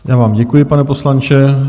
Já vám děkuji, pane poslanče.